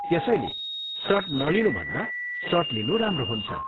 त्यसैले सट नलिनुभन्दा सट लिनु राम्रो हुन्छ।